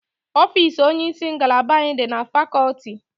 Ofiisi onyeisi ngalaba anyị dị na fakọlti